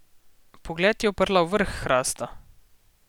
Pogled je uprla v vrh hrasta.